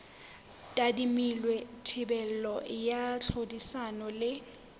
tadimilwe thibelo ya tlhodisano le